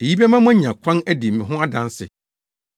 Eyi bɛma moanya kwan adi me ho adanse.